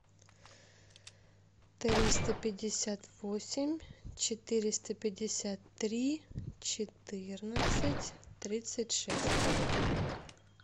триста пятьдесят восемь четыреста пятьдесят три четырнадцать тридцать шесть